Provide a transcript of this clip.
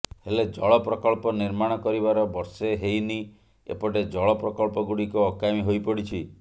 ହେଲେ ଜଳ ପ୍ରକଳ୍ପ ନିର୍ମାଣ କରିବାର ବର୍ଷେ ହେଇନି ଏପଟେ ଜଳ ପ୍ରକଳ୍ପ ଗୁଡିକ ଅକାମୀ ହୋଇପଡିଛି